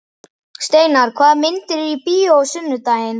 Steinar, hvaða myndir eru í bíó á sunnudaginn?